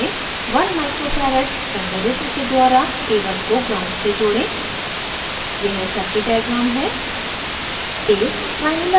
उसी connection में 1uf one micro farad संधारित्र के द्वारा a1 को gnd से जोड़ें यह circuit diagram है